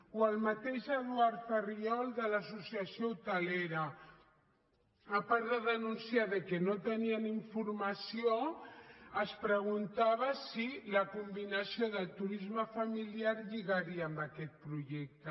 o el mateix eduard farriol de l’associació hotelera a part de denunciar que no tenien informació es preguntava si la combinació de turisme familiar lligaria amb aquest projecte